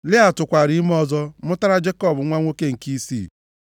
Lịa tụkwaara ime ọzọ mụtara Jekọb nwa nwoke nke isii.